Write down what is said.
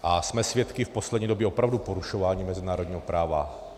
A jsme svědky v poslední době opravdu porušování mezinárodního práva.